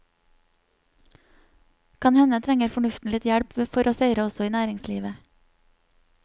Kan hende trenger fornuften litt hjelp for å seire også i næringslivet.